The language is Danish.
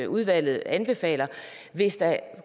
udvalget anbefaler hvis der